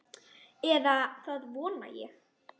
Eða það vona ég,